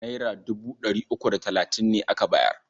Naira dubu ɗari uku da talatin ne aka bayar.